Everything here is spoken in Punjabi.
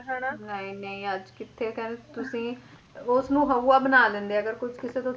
ਨਹੀਂ ਨਹੀਂ ਅੱਜ ਕਿੱਥੇ ਕਹਿੰਦੇ ਤੁਸੀ ਉਸਨੂੰ ਹਊਆ ਬਣਾ ਦਿੰਦੇ ਆ ਅਗਰ ਕੋਈ ਕਿਸੇ ਤੋਂ